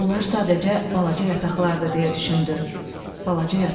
Bunlar sadəcə balaca yataqlardır, deyə düşündü.